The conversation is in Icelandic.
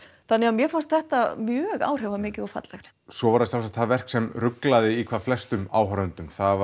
þannig að mér fannst þetta mjög áhrifamikið og fallegt svo var það það verk sem ruglaði í hvað flestum áhorfendum það